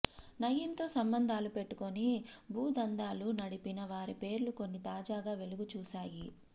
నయీంతో సంబంధాలు పెట్టుకుని భూదందాలు నడిపిన వారి పేర్లు కొన్ని తాజాగా వెలుగు చూశాయి